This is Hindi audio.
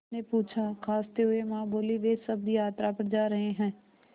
उसने पूछा खाँसते हुए माँ बोलीं वे सब यात्रा पर जा रहे हैं